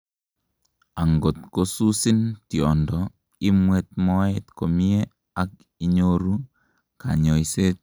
angot kosusin tiondo, imwet moet komie; ak inyoru kanyoiset